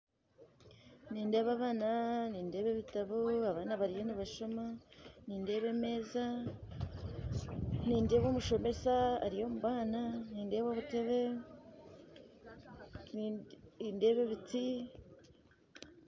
Nindeeba abaana nindeeba ebitabo abaana bariyo nibashooma nindeeba emeeza nindeeba omushomesa ari omu baana nindeeba obuteebe nindeeba ebiti